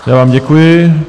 Já vám děkuji.